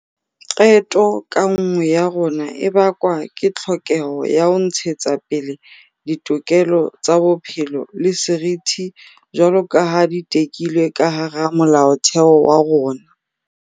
Qeto ka nngwe ya rona e bakwa ke tlhokeho ya ho ntshetsapele ditokelo tsa bophelo le seriti jwaloka ha di tekilwe ka hara Molaotheo wa rona.